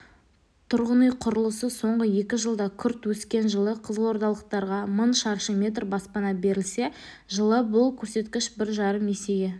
тұрғын үй құрылысы соңғы екі жылда күрт өскен жылы қызылордалықтарға мың шаршы метр баспана берілсе жылы бұл көрсеткіш бір жарым есеге